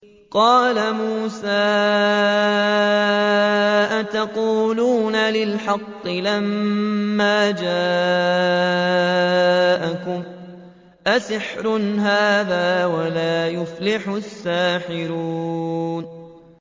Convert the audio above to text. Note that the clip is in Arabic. قَالَ مُوسَىٰ أَتَقُولُونَ لِلْحَقِّ لَمَّا جَاءَكُمْ ۖ أَسِحْرٌ هَٰذَا وَلَا يُفْلِحُ السَّاحِرُونَ